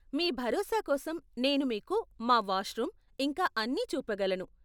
మీ భరోసా కోసం నేను మీకు మా వాష్రూమ్, ఇంకా అన్నీ చూపగలను.